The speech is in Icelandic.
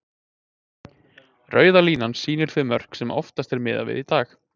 Rauða línan sýnir þau mörk sem oftast er miðað við í dag.